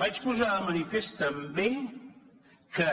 vaig posar de manifest també que